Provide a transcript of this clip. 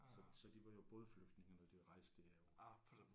Så så de var jo bådflygtninge når de rejste derover